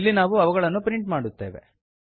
ಇಲ್ಲಿ ನಾವು ಅವುಗಳನ್ನು ಪ್ರಿಂಟ್ ಮಾಡುತ್ತೇವೆ